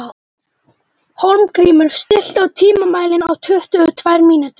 Hólmgrímur, stilltu tímamælinn á tuttugu og tvær mínútur.